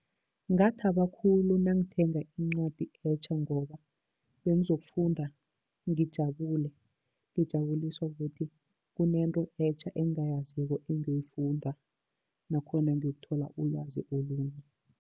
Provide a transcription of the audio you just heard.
Ngathaba khulu nangithenga incwadi etja, ngoba bengizokufunda ngijabule ngijabuliswa kukuthi kunento etja engingayaziko engiyoyifunda nakhona ngiyokuthola ulwazi olunye.